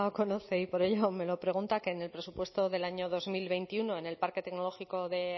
conoce y por ello me lo pregunta que en el presupuesto del año dos mil veintiuno en el parque tecnológico de